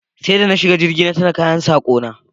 Sai da na shiga jirgi na tuna kayan sako na